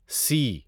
سی